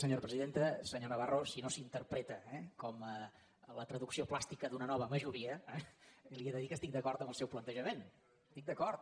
senyor navarro si no s’interpreta eh com la traducció plàstica d’una nova majoria li he de dir que estic d’acord amb el seu plantejament hi estic d’acord